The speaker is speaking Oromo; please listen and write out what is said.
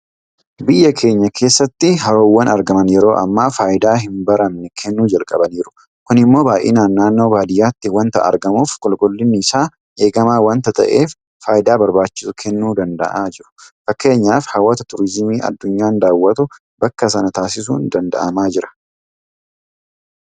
Biyya keenya keessatti haroowwan argaman yeroo ammaa faayidaa hinbaramne kennuu jalqabaniiru. Kun immoo baay'inaan naannoo baadiyyaatti waanta argamuuf qulqullinni isaa eegamaa waanta ta'eef faayidaa barbaachisu kennuu danda'aa jiru. Fakkeenyaaf hawwata turiizimii addunyaan daawwatu bakka sana taasisuun danda'amaa jira.